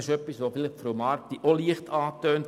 Das hat vielleicht Frau Marti auch leicht angetönt.